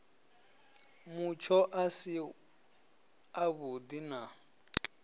mutsho a si avhudi na